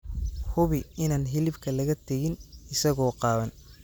Hubi inaan hilibka laga tegin isagoo qaawan.